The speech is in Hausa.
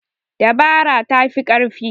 Dabara ta fi ƙarfi.